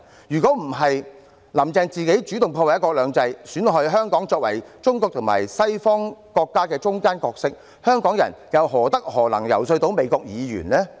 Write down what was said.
如果不是"林鄭"自己主動破壞"一國兩制"，損害香港在中國與西方國家之間的角色，香港人又何德何能，能夠遊說美國議員呢？